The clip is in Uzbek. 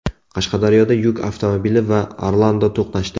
Qashqadaryoda yuk avtomobili va Orlando to‘qnashdi.